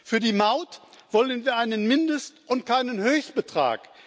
Für die Maut wollen wir einen Mindest und keinen Höchstbetrag.